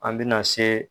An bɛna se